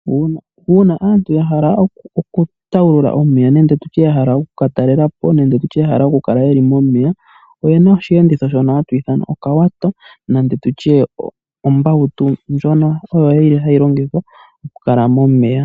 Uuna aantu yahala oku tawulula omeya nenge tutye yahala oku ka talela po nenge tutye ya hala oku kala momeya, oyena oshiyenditho shono hatu ithana okawato nenge tutye ombautu ndjono yili hayi longithwa oku kala momeya.